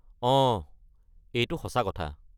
অঁ, এইটো সঁচা কথা।